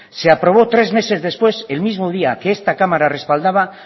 se aprobó tres meses después el mismo día que esta cámara respaldaba